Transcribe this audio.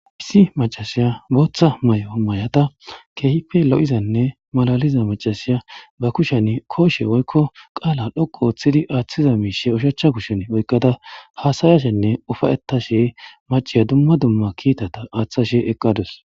Issi macasiya booththa may7o may7ata keehipe lo7izanne malaliza macasiya ba kushen kooshe woykko qaala dhoqu ooththidi aaththiza miishe ushachcha kushshen oykkada haasayashenne ufayetta she maciya dumma dumma kiitata aaththashe eqqadus.